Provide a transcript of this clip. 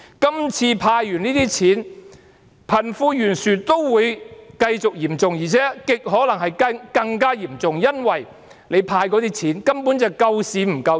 今次政府"派錢"後，貧富懸殊仍然繼續嚴重，而且極可能更加嚴重，因為所派發的錢，根本是救市不救人。